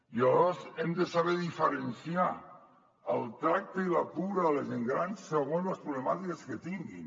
i aleshores hem de saber diferenciar el tracte i la cura de la gent gran segons les problemàtiques que tinguin